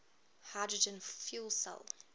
hydrogen fuel cell